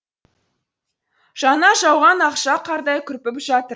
жаңа жауған ақша қардай күрпіп жатыр